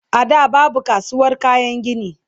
a da babu kasuwar kayan gini